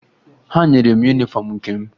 Ha nyere m yunifọmụ nke m